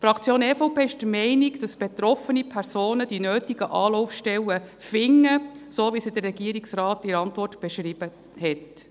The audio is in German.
Die Fraktion EVP ist der Meinung, dass betroffene Personen die nötigen Anlaufstellen finden, so wie der Regierungsrat in der Antwort beschrieben hat.